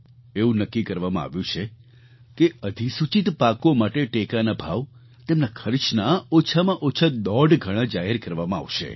એવું નક્કી કરવામાં આવ્યું છે કે અધિસૂચિત પાકો માટે ટેકાના ભાવ તેમના ખર્ચના ઓછામાં ઓછા દોઢ ગણા જાહેર કરવામાં આવશે